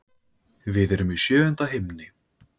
Við erum í sjöunda himni.